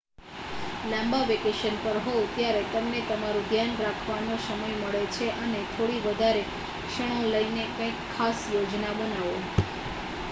લાંબા વેકેશન પર હોવ ત્યારે તમને તમારું ધ્યાન રાખવાનો સમય મળે છે અને થોડી વધારે ક્ષણો લઈને કઇંક ખાસ યોજના બનાવો